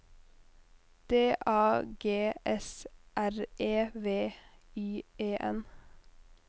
D A G S R E V Y E N